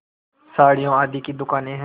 साड़ियों आदि की दुकानें हैं